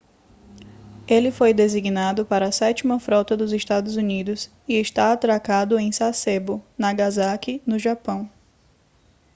ele foi designado para a sétima frota dos estados unidos e está atracado em sasebo nagasaki no japão